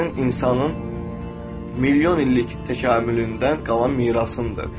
O sənin insanın milyon illik təkamülündən qalan mirasındır.